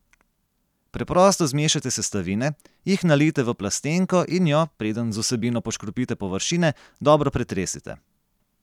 Preprosto zmešajte sestavine, jih nalijte v plastenko in jo, preden z vsebino poškropite površine, dobro pretresite.